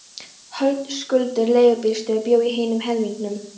Höskuldur leigubílstjóri bjó í hinum helmingnum.